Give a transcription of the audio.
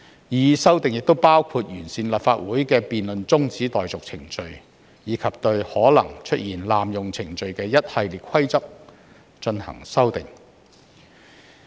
擬議修訂亦包括完善立法會的辯論中止待續程序，以及對可能出現濫用程序的一系列規則進行修訂。